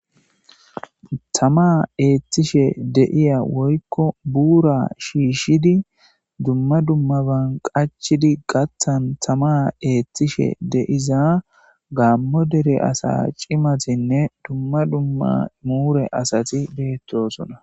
Tama eethishe de'iya woyko buura shishidi dumma dumma ban qachchidi gaathan tama eethishe diza Gaamo dere asa cimatinne dumma dumma muhure asati beetoosona.